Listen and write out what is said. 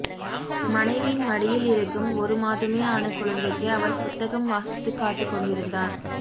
மனைவியின் மடியில் இருக்கும் ஒரு மாதமே ஆன குழந்தைக்கு அவர் புத்தகம் வாசித்துக் காட்டிக் கொண்டிருந்தார்